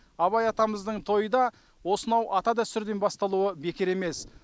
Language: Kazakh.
абай атамыздың тойы да осынау ата дәстүрден басталуы бекер емес